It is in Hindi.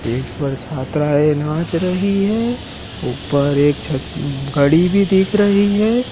स्टेज पर छात्राएँ नाच रही हैं। ऊपर एक छत घड़ी भी दिख रही है।